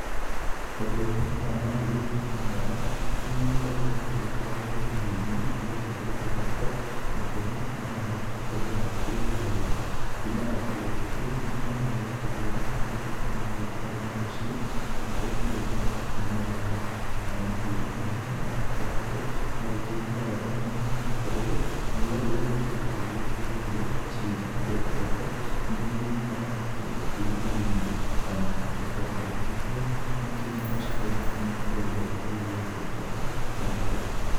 Ũrĩithi wa mahiũ mwanya mwanya nĩ magĩkragwo magĩgĩtwarwo rũriĩ-inĩ rĩrĩa gũkĩrĩ kĩroko na tene nĩ getha magĩgĩkorwo magĩkĩharĩĩra kuma okĩroko kĩu ngina rĩrĩa magũkĩhũna. Magĩtuĩke nĩ magĩtwarwo na mũciĩ kana kũrĩa magĩthiaga kũnyua maaĩ. Namo mahiu ta maya nĩ magĩkoragwo magĩkĩigua wega mũno nĩ gũkorwo riũwa rĩrĩa rĩkĩragwo rĩgĩteithagia ciũmbe rĩa kĩroko, nĩ rĩkĩmakoraga makĩrĩa okũu rũruiĩ-inĩ. Namo magagĩkorwo magĩkĩigua makĩrĩ na ũcanjamũku mũno rĩrĩa riũa ta rĩrĩ rĩakĩmakora na rĩakĩmarĩra.